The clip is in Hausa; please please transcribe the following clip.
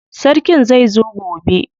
Sarkin zai zo gobe.